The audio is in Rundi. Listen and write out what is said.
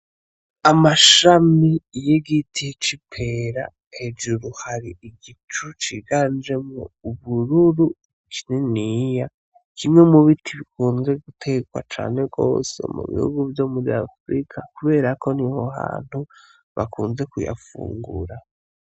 Amashami y'igiti c'ipera hejuru hari igicu ciganjemwo ubururu kininiya kimwe mu biti bikunzwe guterwa cane gose mu bihugu vyo muri afirika kuberako niho hantu bakunze kuyafungura.